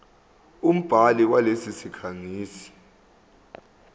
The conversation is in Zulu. umbhali walesi sikhangisi